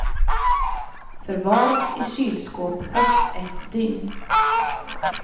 Förvaras i kylskåp högst ett dygn.